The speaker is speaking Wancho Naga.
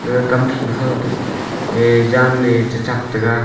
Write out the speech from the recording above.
ga kam than kho e jan e cha thap taga.